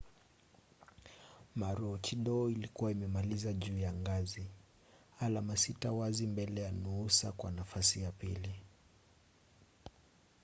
maroochidore ilikuwa imemaliza juu ya ngazi alama sita wazi mbele ya noosa kwa nafasi ya pili